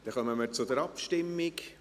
Dann kommen wir zur Abstimmung.